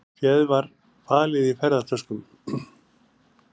Féð var falið í ferðatöskum